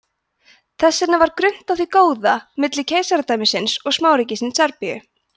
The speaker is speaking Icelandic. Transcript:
þess vegna var grunnt á því góða milli keisaradæmisins og smáríkisins serbíu